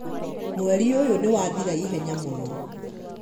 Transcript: mweri ũyũ niwathira ihenya mũno